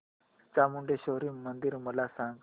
चामुंडेश्वरी मंदिर मला सांग